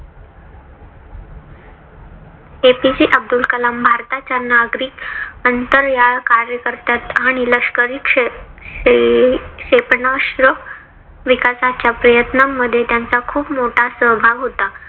APJ Abdul Kalam भारताच्या नागरिक अंतराळ कार्यक्रमात आंनी लष्करी क्षेपणास्त्रे विकासाच्या प्रयत्नामध्ये त्यांचा खूप मोठा सहभाग होता.